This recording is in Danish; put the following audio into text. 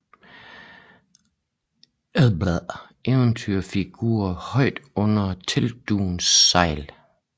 Andersensk eventyrfigur højt under teltdugens sejl